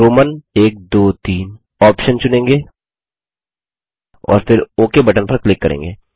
हम रोमन iiiआईआईआई ऑप्शन चुनेंगे और फिर ओक बटन पर क्लिक करेंगे